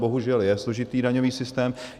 Bohužel je složitý daňový systém.